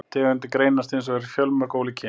Tegundin greinist hins vegar í fjölmörg ólík kyn.